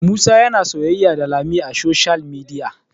Musa yana soyayya da lami a soshiyal midiya